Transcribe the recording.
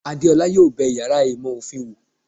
Adéọlá yóò bé iyàrá ìmọ ofín wò